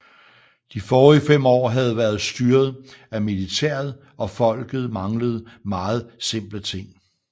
De forrige fem år havde været styret af militæret og folket manglede meget simple ting